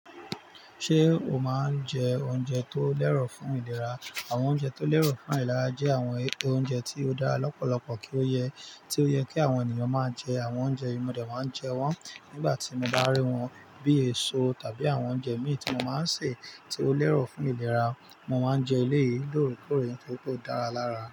Ṣé o máa ń jẹ oúnjẹ tó lẹ́rọ̀ fún ìlera? Àwọn oúnjẹ tó lẹ́rọ̀ fún ìlera jẹ́ àwọn oúnjẹ tí ó dára lọ́pọ̀lọpọ̀ kí ó yẹ tí ó yẹ kí àwọn ènìyàn máa jẹ. Àwọn oúnjẹ yìí mo dẹ̀ máa ń jẹ wọ́n nígbà tí mo bá rí wọn bíi èso tàbí àwọn oúnjẹ míì tí mo máa ń sè tí ó lẹ́rọ̀ fún ìlera. Mo máa ń jẹ elé yìí lóòre-kóòre nitori pe ó dára lára.